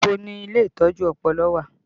Ibo ni ilé ìtọ́jú ọpọlọ wà?